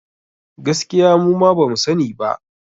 Gaskiya muma bamu sa ni ba